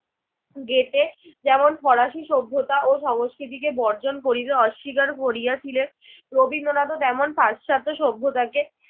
Goethe যেমন পলাশি সভ্যতা ও সংস্কৃতিকে বর্জন করিতে অস্বীকার করিয়াছিলেন রবীন্দ্রনাথও তেমন পাশ্চাত্য সভ্যতাকে